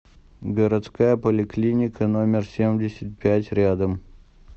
городская поликлиника номер семьдесят пять рядом